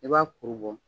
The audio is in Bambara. I b'a kuru bɔ